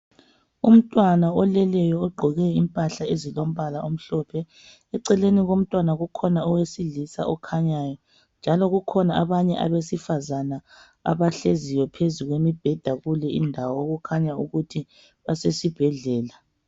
Umntwana oleleyo. Ogqoke impahla ezilombala omhlophe. Eceleni komntwana kukhona owesilisa okhanyayo, njalo kukhona abanye abesifazana, abahleziyo phezu kombheda, kuyonale indawo. Okukhanyayo ukuthi basesibhedlela.